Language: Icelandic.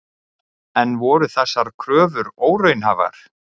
En voru þessar kröfur óraunhæfar?